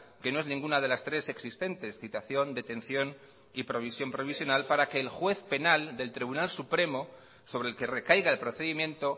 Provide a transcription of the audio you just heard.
que no es ninguna de las tres existentes citación detención y provisión provisional para que el juez penal del tribunal supremo sobre el que recaiga el procedimiento